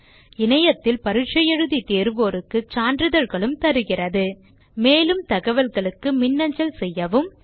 இணையத்தில் பரிட்சை எழுதி தேர்வோருக்கு சான்றிதழ்களும் தருகிறது மேலும் அதிக தகவல்களுக்கு எம்மை தொடர்பு கொள்ளவும்